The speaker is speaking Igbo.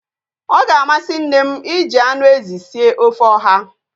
Ọ ga-amasị nne m iji anụ ezi sie ofe ọha